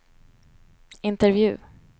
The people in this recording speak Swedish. intervju